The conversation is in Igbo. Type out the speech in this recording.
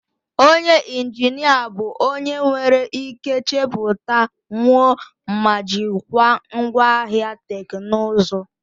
Onye injinia bụ onye nwere ike chepụta, wuo ma jikwaa ngwaahịa teknụzụ.